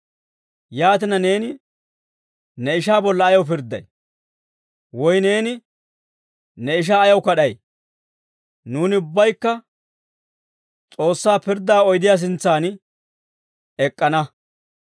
Yaatina, neeni ne ishaa bolla ayaw pirdday? Woy neeni ne ishaa ayaw kad'ay? Nuuni ubbaykka S'oossaa pirddaa oydiyaa sintsan ek'k'ana.